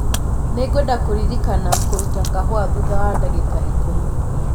Nĩngwenda kũririkania kũrũta kahũa thutha wa ndagĩka ikũmi .